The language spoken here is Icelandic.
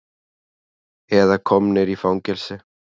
Eða komnir í fangelsi.